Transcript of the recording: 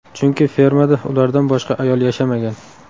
Chunki fermada ulardan boshqa ayol yashamagan.